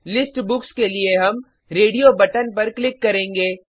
list books के लिए हम रेडियो बटन पर क्लिक करेंगे